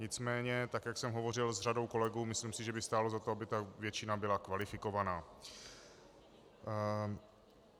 Nicméně, tak jak jsem hovořil s řadou kolegů, myslím si, že by stálo za to, aby ta většina byla kvalifikovaná.